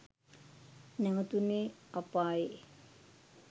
නැවතුනේ අපායෙ.